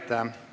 Aitäh!